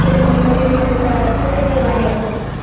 तुला तुमच्या मुलीला जे पुतणी आहे वाटतं ते